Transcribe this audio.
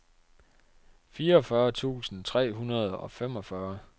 fireogfyrre tusind tre hundrede og femogfyrre